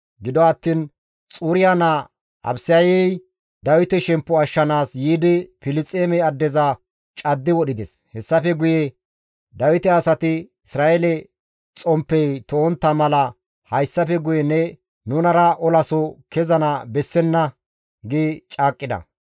Gido attiin Xuriya naa Abisayey Dawite shemppo ashshanaas yiidi Filisxeeme addeza caddi wodhides. Hessafe guye Dawite asati, «Isra7eele xomppey to7ontta mala hayssafe guye ne nunara olaso kezana bessenna» gi caaqqida.